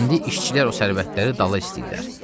İndi işçilər o sərvətləri dala istəyirlər.